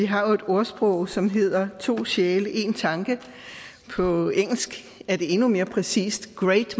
har et ordsprog som hedder to sjæle én tanke på engelsk er det endnu mere præcist great